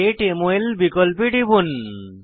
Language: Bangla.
গেট মল বিকল্পে টিপুন